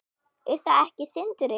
Er það ekki Sindri?